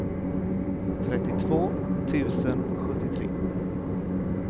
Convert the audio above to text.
trettiotvå tusen sjuttiotre